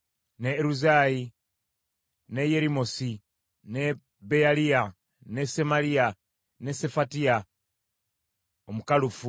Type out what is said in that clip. ne Eruzayi, ne Yerimosi, ne Beyaliya, ne Semaliya, ne Sefatiya Omukalufu;